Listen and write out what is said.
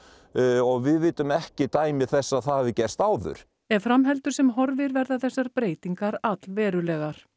og við vitum ekki dæmi þess að það hafi gerst áður ef fram heldur sem horfir verða þessar breytingar allverulegar